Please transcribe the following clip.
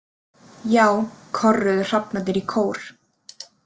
Já, korruðu hrafnarnir í kór.